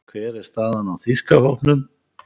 Hver er staðan á þýska hópnum?